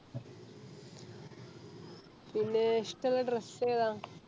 പിന്നെ ഇഷ്ട്ടള്ളേ Dress ഏതാ